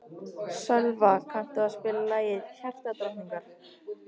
Sölva, kanntu að spila lagið „Hjartadrottningar“?